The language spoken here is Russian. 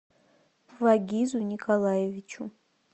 вагизу николаевичу